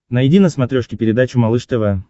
найди на смотрешке передачу малыш тв